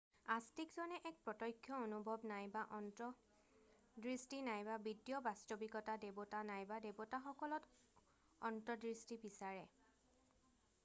আস্তিকজনে এক প্ৰতক্ষ্য অনুভৱ নাইবা অন্তৰ্দৃষ্টি নাইবা বিদ্য বাস্তৱিকতা/দেৱতা নাইবা দেৱতাসকলত অন্তৰ্দৃষ্টি বিচাৰে৷